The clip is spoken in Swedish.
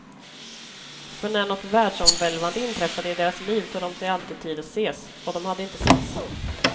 För när något världsomvälvande inträffade i deras liv tog de sig alltid tid att ses, och de hade inte setts.